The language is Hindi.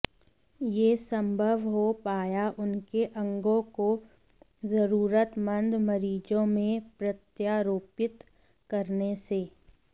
यह संभव हो पाया उनके अंगों को जरूरतमंद मरीजों में प्रत्यारोपित करने से